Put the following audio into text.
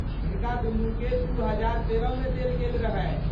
हिनका दुनूकेँ दू हजार तेरहमे देल गेल रहनि।